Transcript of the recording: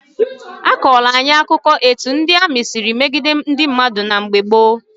A kọọla anyị akụkọ etu ndị amị siri megide ndị mmadụ na mgbe gboo.